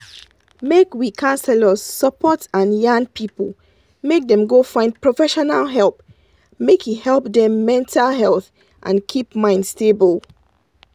make we counselors support and yan people make dem go find professional help make he help dem mental health and keep mind stable.